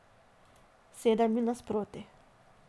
Sedem ji nasproti.